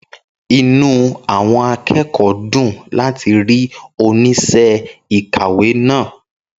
Inú àwọn akẹ́kọ̀ọ́ dùn láti rí oníṣẹ́ ìkàwé náà.